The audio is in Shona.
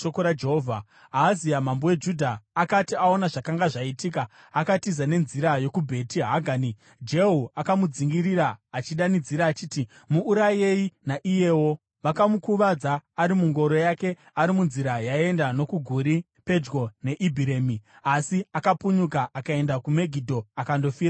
Ahazia mambo weJudha akati aona zvakanga zvaitika, akatiza nenzira yokuBheti Hagani. Jehu akamudzingirira, achidanidzira achiti, “Muurayei naiyewo!” Vakamukuvadza ari mungoro yake ari munzira yaienda nokuGuri pedyo neIbhiremi, asi akapunyuka akaenda kuMegidho akandofira ikoko.